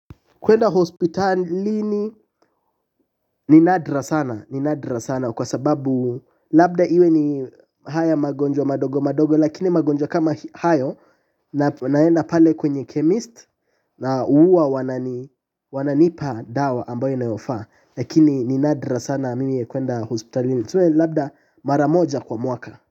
Kwenda hospitalini ni nadra sana kwa sababu labda iwe ni haya magonjwa madogo madogo lakini magonjwa kama hayo naenda pale kwenye chemist na huwa wananipa dawa ambayo inayofaa lakini ni nadra sana mimi kwenda hospitalini tuseme ni labda mara moja kwa mwaka.